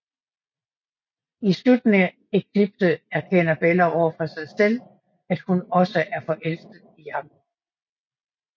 I slutningen af Eclipse erkender Bella over for sig selv at hun også er forelsket i Jacob